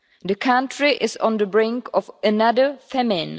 The country is on the brink of another famine.